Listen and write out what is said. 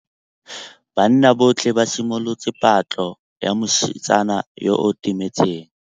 Banna botlhê ba simolotse patlô ya mosetsana yo o timetseng.